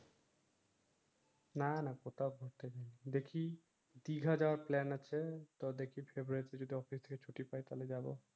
না না কোথাও ঘুরতে দেখি দিঘা যাওয়ার প্লান আছে তো দেখি ফেব্রুয়ারিতে যদি অফিস থেকে ছুটি পাই তাইলে যাবো